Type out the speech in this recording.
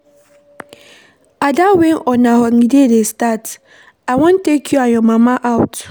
Ada wen una holiday dey start? I wan take you and your mama out.